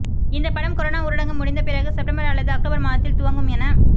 இந்த படம் கொரோனா ஊரடங்கு முடிந்த பிறகு செப்டம்பர் அல்லது அக்டோபர் மாதத்தில் துவங்கும் என